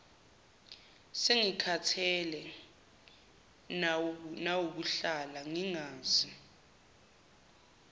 sengikhathele nawukuhlala ngingazi